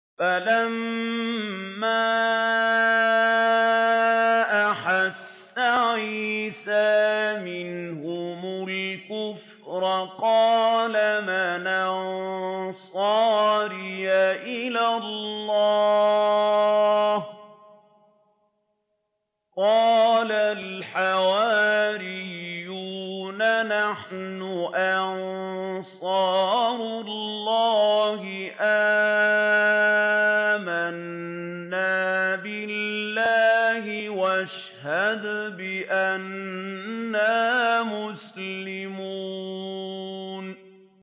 ۞ فَلَمَّا أَحَسَّ عِيسَىٰ مِنْهُمُ الْكُفْرَ قَالَ مَنْ أَنصَارِي إِلَى اللَّهِ ۖ قَالَ الْحَوَارِيُّونَ نَحْنُ أَنصَارُ اللَّهِ آمَنَّا بِاللَّهِ وَاشْهَدْ بِأَنَّا مُسْلِمُونَ